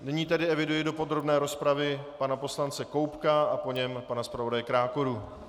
Nyní tedy eviduji do podrobné rozpravy pana poslance Koubka a po něm pana zpravodaje Krákoru.